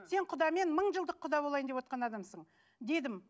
сен құдамен мың жылдық құда болайын деп отырған адамсың дедім